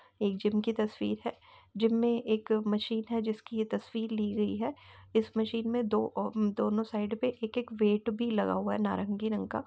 एक जिम की तस्वीर है। जिम मे एक मशीन है। जिसकी ये तस्वीर ली गई है। इस मशीन मे दो अ दोनों साइड में एक-एक वेट भी लगा हुआ है नारंगी रंग का।